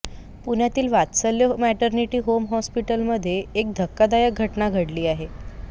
पुण्यातील Vatsalya maternity home हॉस्पिटलमध्ये एक धक्कादायक घटना घडली आहे